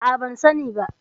A'a, ban sani ba.